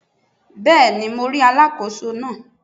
Bẹ́ẹ̀ni mo rí Alákóso náà